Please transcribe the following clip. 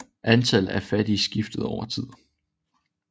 Antallet af fattige skiftede over tid